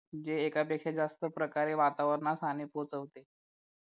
जे एकापेक्षा जास्त प्रकारे वातावरणास हानी पोहोचवते